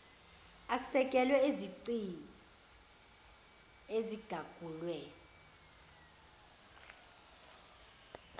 asekelwe ezicini ezigagulwe